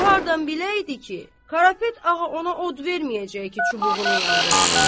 O hardan biləydi ki, Qarapet ağa ona od verməyəcək ki, çubuğunu yandırsın.